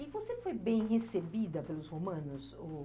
E você foi bem recebida pelos romanos? Ou...